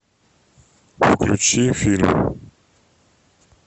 включи фильм